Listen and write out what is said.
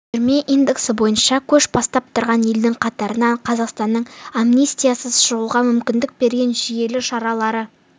түрме индексі бойынша көш бастап тұрған елдің қатарынан қазақстанның амнистиясыз шығуға мүмкіндік берген жүйелі шаралары